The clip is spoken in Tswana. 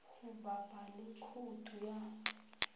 go bapa le khoutu ya